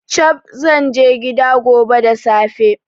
Chab! Zanje gida gone da safe